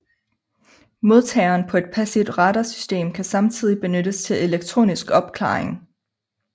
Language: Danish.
Modtageren på et passivt radarsystem kan samtidig benyttes til elektronisk opklaring